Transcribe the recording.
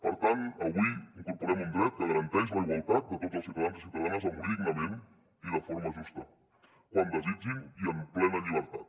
per tant avui incorporem un dret que garanteix la igualtat de tots els ciutadans i ciutadanes a morir dignament i de forma justa quan desitgin i en plena llibertat